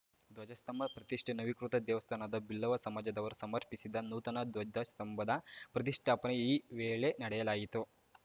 ಧ್ವಜಸ್ತಂಭ ಪ್ರತಿಷ್ಠೆ ನವೀಕೃತ ದೇವಸ್ಥಾನದ ಬಿಲ್ಲವ ಸಮಾಜದವರು ಸಮರ್ಪಿಸಿದ ನೂತನ ಧ್ವಜಸ್ಥಂಭದ ಪ್ರತಿಷ್ಠಾಪನೆ ಈ ವೇಳೆ ನಡೆಯಲಾಯಿತು